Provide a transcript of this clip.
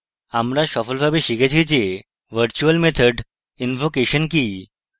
আমরা সফলভাবে শিখেছি যে virtual method invocation কি